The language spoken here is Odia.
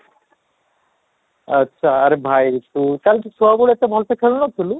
ଆଛା, ଆରେ ଭାଇ ତୁ ତାହାଲେ ତ ଛୁଆ ବେଳେ ଏତେ ଭଲ ସେ ଖେଳୁ ନଥିଲୁ?